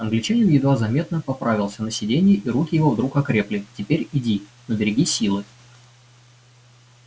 англичанин едва заметно поправился на сиденье и руки его вдруг окрепли теперь иди но береги силы